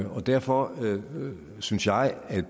og derfor synes jeg at